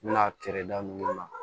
N bɛna kɛrɛda min na